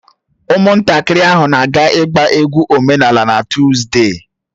Ụmụntakịrị ahụ na-aga ịgba egwu omenala na Tuzdee